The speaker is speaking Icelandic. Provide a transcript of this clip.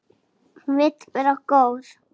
Hún vill vera góð.